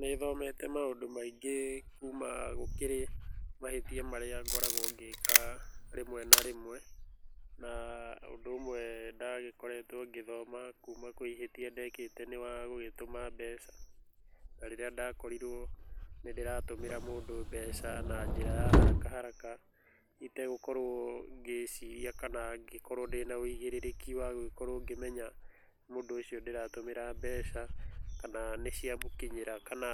Nĩthomete maũndũ maingĩ kuma gũkĩrĩ mahĩtia marĩa ngoragwa ngĩka rĩmwe na rĩmwe, na ũndũ ũmwe ndagĩkoretwe ngĩthoma kuuma kwĩ ĩhĩtia ndekĩte nĩ wagũgĩtũma mbeca, tarĩrĩa ndakorirwo nĩndĩratũmĩra mũndũ mbeca na njĩra ya haraka haraka itegũkorwo ngĩciria kana ngĩkorwo ndĩna ũigĩrĩrĩki wagũkorwo ngĩmenya mũndũ ũcio ndĩratũmĩra mbeca kana nĩciamũkinyĩra kana